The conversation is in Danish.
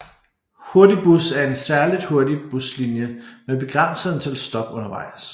Hurtigbus er en særligt hurtig buslinje med begrænset antal stop undervejs